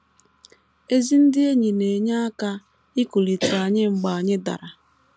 Ezi ndị enyi na - enye aka ikulite anyị mgbe anyị dara.